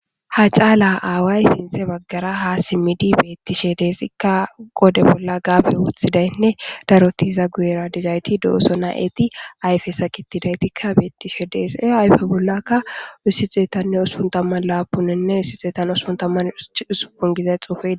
ha caala aaway sinthe baggara ha simmidi beettishe deesikka gode bolla gaabe wuthidaynne darotiza guyera dizayti dooso na7eti ayfe sakitidaytikka beettishe deese ayfe bollakka ussi xeetanne uspuntamman laapuninne issi xeetan uspuntamman usupun gizay xuufe